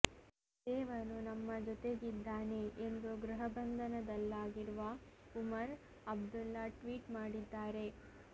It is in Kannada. ದೇವನು ನಮ್ಮ ಜೊತೆಗಿದ್ದಾನೆ ಎಂದು ಗೃಹಬಂಧನದಲ್ಲಾಗಿರುವ ಉಮರ್ ಅಬ್ದುಲ್ಲ ಟ್ವೀಟ್ ಮಾಡಿದ್ದಾರೆ